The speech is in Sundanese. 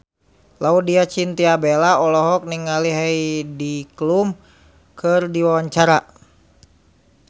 Laudya Chintya Bella olohok ningali Heidi Klum keur diwawancara